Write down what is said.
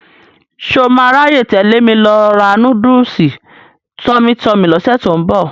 Ṣọ máa ráyè tẹ̀lé mi lọ ra núdùsù Tummy Tummy lọ́sẹ̀ tó ń bọ̀?